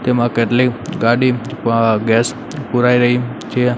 તેમાં કેટલી ગાડી પા ગેસ પુરાય રહી છે.